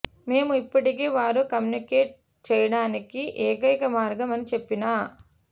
మేము ఇప్పటికే వారు కమ్యూనికేట్ చేయడానికి ఏకైక మార్గం అని చెప్పిన